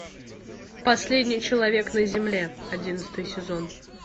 последний человек на земле одиннадцатый сезон